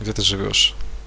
где ты живёшь